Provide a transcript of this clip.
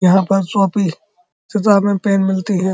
यहाँ पर कॉपी किताबें पेन मिलती हैं।